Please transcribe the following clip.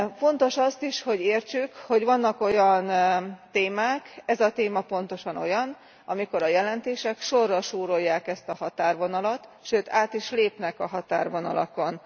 Fontos az is, hogy értsük, hogy vannak olyan témák ez a téma pontosan olyan amikor a jelentések sorra súrolják ezt a határvonalat, sőt, át is lépnek a határvonalakon.